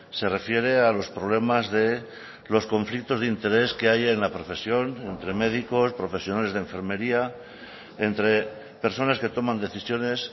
se refiere a los problemas de los conflictos de interés que hay en la profesión entre médicos profesionales de enfermería entre personas que toman decisiones